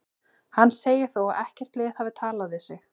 Hann segir þó að ekkert lið hafi talað við sig.